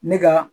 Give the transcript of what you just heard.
Ne ka